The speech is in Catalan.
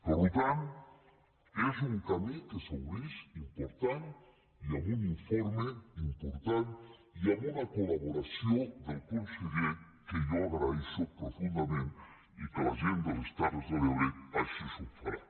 per tant és un camí que s’obre important i amb un informe important i amb una col·laboració del conseller que jo agraeixo profundament i que la gent de les terres de l’ebre així ho faran